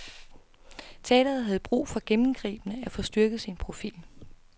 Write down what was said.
Teatret havde brug for gennembgribende at få styrket sin profil.